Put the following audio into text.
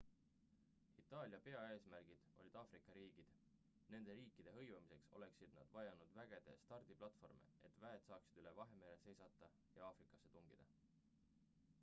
itaalia peaeesmärgid olid aafrika riigid nende riikide hõivamiseks oleksid nad vajanud vägede stardiplatvorme et väed saaksid üle vahemere seilata ja aafrikasse tungida